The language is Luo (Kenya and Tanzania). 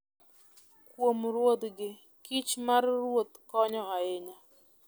Kuom ruodhgi, kich mar ruoth konyo ahinya.